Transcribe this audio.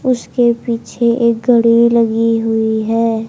उसके पीछे एक गडवी लगी हुई है।